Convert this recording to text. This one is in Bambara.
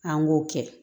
An k'o kɛ